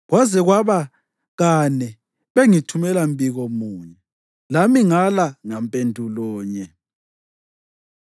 Kwaze kwaba kane bengithumela mbiko munye, lami ngala ngampendulo nye.